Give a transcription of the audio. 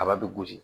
Kaba bɛ gosi